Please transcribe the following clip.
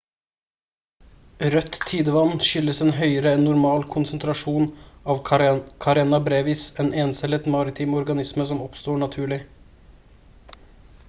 rødt tidevann skyldes en høyere enn normal konsentrasjon av karenia brevis en encellet maritim organisme som oppstår naturlig